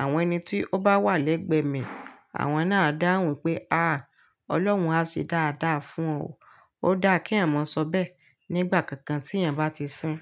Àwọn ẹni tí ó bá wà lẹ́gbẹ̀ẹ́ mi, àwọn náà dáhùn pé "à, Ọlọ́run á ṣe dáadáa fún ọ". Ó dáa kí ẹ̀eyan maa sọ bẹ́ẹ̀ nígbà kankan tí ẹ̀ ń bá ti sín.